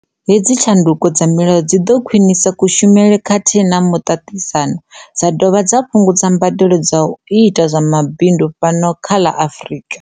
Hedzi tshandukiso dza milayo dzi ḓo khwinisa ku shumele khathihi na muṱaṱisa no, dza dovha dza fhungudza mbadelo dza u ita zwa mabindu fhano kha ḽa Afrika.